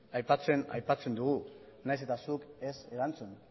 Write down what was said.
aipatzen dugu nahiz eta zuk ez erantzun